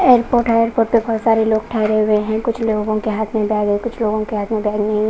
Airport है airport पे बहुत सारे लोग ठहरे हुए हैं कुछ लोगों के हाथ में बैग है कुछ लोगों के हाथ में बैग नहीं .